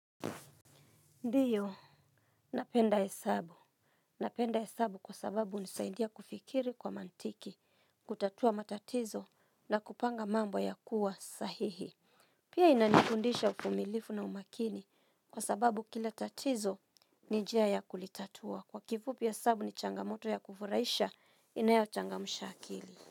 Ndiyo, napenda hesabu. Napenda hesabu kwa sababu nisaindia kufikiri kwa mantiki, kutatua matatizo na kupanga mambo ya kuwa sahihi. Pia inanikundisha ufumilifu na umakini kwa sababu kila tatizo ni njia ya kulitatua. Kwa kifupi hesabu ni changamoto ya kufuraisha inayo changamsha akili.